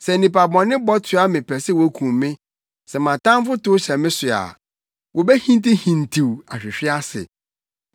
Sɛ nnipa bɔne bɔ toa me pɛ sɛ wokum me, sɛ mʼatamfo tow hyɛ me so a, wobehintihintiw ahwehwe ase.